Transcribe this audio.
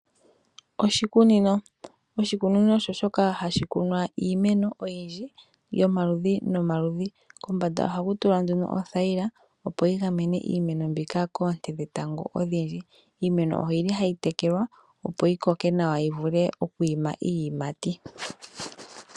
Oshikunino osho ehala ndyoka hali kunwa iimeno oyindji yomaludhi nomaludhi, kombanda ihaku tulwa othayila opo yi gamene iimeno mbika koonte dhetango odhindji. Iimeno oyi li hayi tekelwa opo yi koke nawa yi vule okwiima iiyimati.